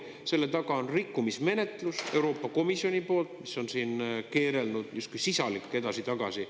Selle taga on rikkumismenetlus Euroopa Komisjoni poolt, mis on siin keerelnud justkui sisalik edasi-tagasi.